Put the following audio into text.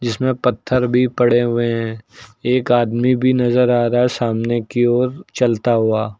जिस में पत्थर भी पड़े हुए हैं एक आदमी भी नजर आ रहा है सामने की ओर चलता हुआ।